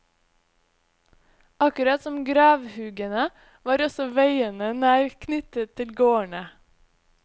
Akkurat som gravhugene var også veiene nær knyttet til gårdene.